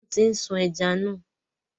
Wọ́n ti ń sun ẹja náà.